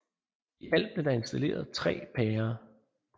I alt er der installeret 3 pærer